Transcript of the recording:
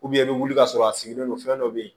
i bɛ wuli ka sɔrɔ a sigilen don fɛn dɔ bɛ yen